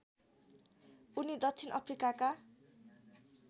उनी दक्षिण अफ्रिकाका